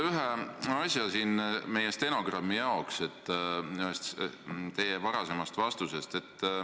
Ma tahaksin stenogrammi huvides täpsustada üht teie varasemat vastust.